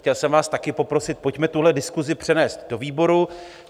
Chtěl jsem vás také poprosit, pojďme tuhle diskusi přenést do výboru.